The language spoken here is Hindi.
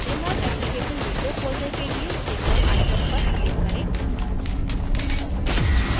jmol application window खोलने के लिए jmol icon पर click करें